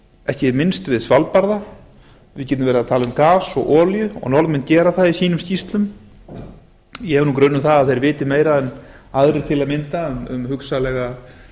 ekki minnst við svalbarða við getum verið að tala um gas og olíu og norðmenn gera það í sínum skýrslum ég hef nú grun um það að þeir viti meira en aðrir til að mynda um hugsanlegar